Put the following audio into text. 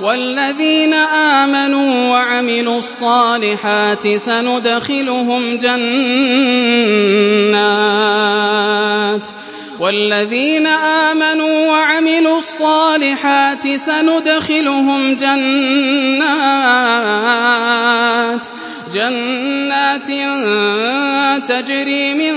وَالَّذِينَ آمَنُوا وَعَمِلُوا الصَّالِحَاتِ سَنُدْخِلُهُمْ جَنَّاتٍ تَجْرِي مِن